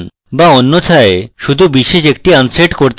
বা অন্যথায় শুধু বিশেষ একটি unset করতে পারেন